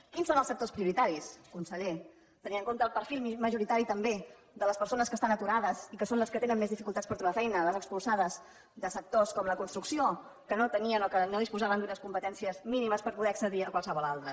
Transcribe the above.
quins són els sectors prioritaris conseller tenint en compte el perfil majoritari també de les persones que estan aturades i que són les que tenen més dificultats per trobar feina les expulsades de sectors com la construcció que no tenien o que no disposaven d’unes competències mínimes per poder accedir a qualsevol altra